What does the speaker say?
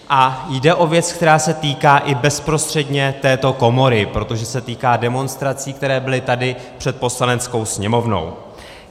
A jde o věc, která se týká i bezprostředně této komory, protože se týká demonstrací, které byly tady před Poslaneckou sněmovnou.